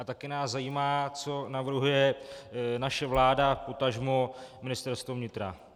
A také nás zajímá, co navrhuje naše vláda, potažmo Ministerstvo vnitra.